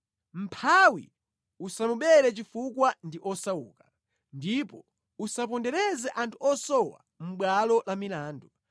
Mʼmphawi usamubere chifukwa ndi osauka, ndipo usawapondereze anthu osowa mʼbwalo la milandu,